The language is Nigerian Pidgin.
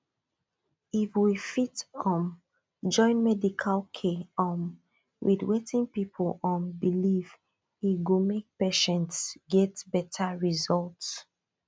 if we fit um join medical care um with wetin people um believe e go make patients get better result